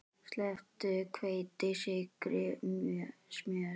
Sleppt hveiti, sykri, smjöri.